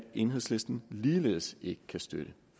enhedslisten ligeledes ikke kan støtte